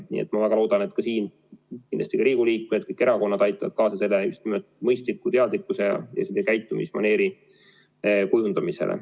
Nii et ma väga loodan, et ka siin Riigikogu liikmed, kõik erakonnad aitavad kaasa just nimelt mõistliku teadlikkuse ja käitumismaneeri kujundamisele.